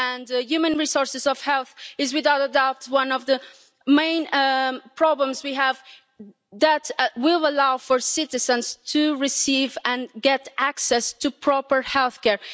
And human resources for health is, without a doubt, one of the main problems we have that will allow citizens to receive and get access to proper healthcare.